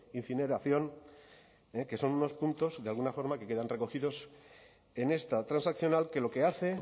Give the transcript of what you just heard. incineración que son unos puntos de alguna forma que quedan recogidos en esta transaccional que lo que hace